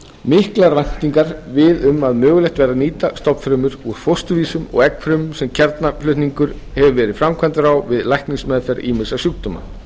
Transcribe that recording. miklar væntingar um að mögulegt verði að nýta stofnfrumur úr fósturvísum og eggfrumur sem kjarnaflutningur hefur verið framkvæmdur á við læknismeðferð ýmissa sjúkdóma